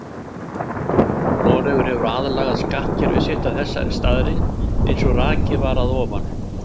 Noregur hefur aðlagað skattkerfi sitt að þessari staðreynd eins og rakið var að ofan.